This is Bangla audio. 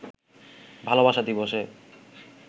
ভালোবাসা দিবসে